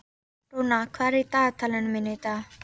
Rúnar, hvað er á dagatalinu mínu í dag?